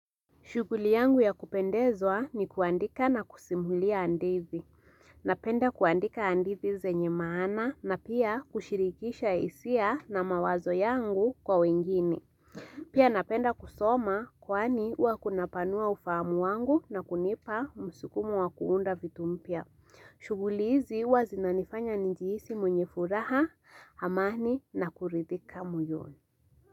Shughuli yangu ya kupendezwa ni kuandika na kusimulia hadithi. Napenda kuandika hadithi zenye maana na pia kushirikisha hisia na mawazo yangu kwa wengine. Pia napenda kusoma kwani huwa kunapanua ufahamu wangu na kunipa msukumo wakuunda vitu mpya. Shughuli hizi huwa zinanifanya nijihisi mwenye furaha, amani na kuridhika moyoni.